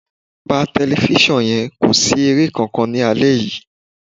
Pa tẹlifíṣàn yẹn, kò sí eré kankan ní alẹ́ yìí